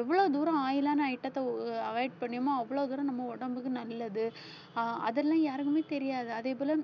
எவ்வளவு தூரம் oil ஆன item த்தை அஹ் avoid பண்ணணுமோ அவ்வளவு தூரம் நம்ம உடம்புக்கு நல்லது ஆஹ் அதெல்லாம் யாருக்குமே தெரியாது அதே போல